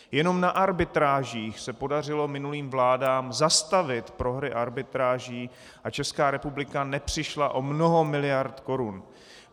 Jenom na arbitrážích se podařilo minulým vládám zastavit prohry arbitráží a Česká republika nepřišla o mnoho miliard korun.